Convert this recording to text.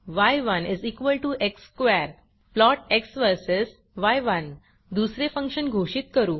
य1 x square plot x versus य1 दुसरे function घोषित करू